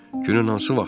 Günün hansı vaxtında?